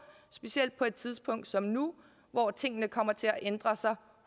specielt på et tidspunkt som nu hvor tingene kommer til at ændre sig